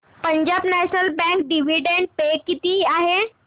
Punjab national bank dividend pay किती आहे